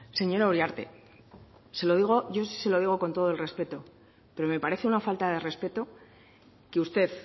señora uriarte yo sí se lo digo con todo el respeto pero me parece una falta de respeto que usted